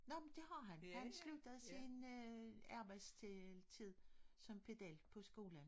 Nå men det har han han sluttede sin øh arbejdstid som pedel på skolen